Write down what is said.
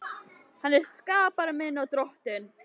Hann er skapari minn og Drottinn.